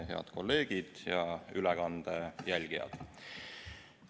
Head kolleegid ja ülekande jälgijad!